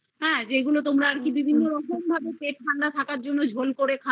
হ্যা যেগুলো তোমরা বিভিন্ন রকম ভাবে পেট ঠান্ডা রাখার জন্য ঝোল